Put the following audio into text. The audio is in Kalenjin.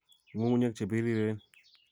Ng'ung'unyek che piriireen